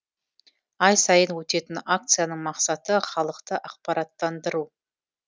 ай сайын өтетін акцияның мақсаты халықты ақпараттандыру